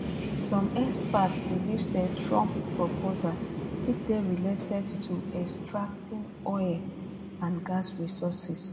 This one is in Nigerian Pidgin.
some experts believe say trump proposals fit dey related to extracting oil oil um and gas resources